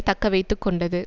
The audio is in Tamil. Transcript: தக்கவைத்து கொண்டது